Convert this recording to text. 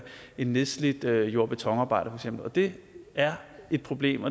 en nedslidt jord og betonarbejder og det er et problem